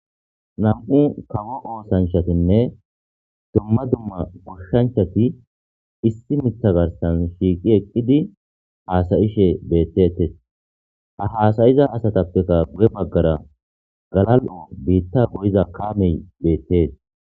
Nam'u kawo oosanchatinne dumma duma goshanchati issi miththa garssan shiiqi eqidi haasa'ishe beetetes. Ha haasa'iza asatappekka guye bagara galal'o biita goyida kaame beetees.